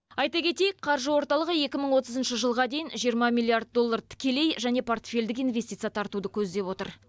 айта кетейік қаржы орталығы екі мың отызыншы жылға дейін жиырма миллиард доллар тікелей және портфельдік инвестиция тартуды көздеп отыр